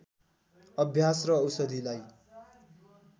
अभ्यास र औषधिलाई